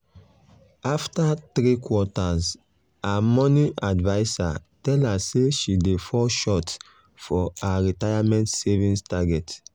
after three quarters her money adviser tell her say she dey fall short for her retirement savings target.